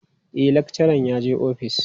E, lakcharan yaje office.